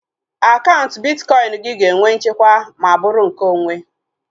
Akaụntụ bitkọin gị ga-enwe nchekwa ma bụrụ nke onwe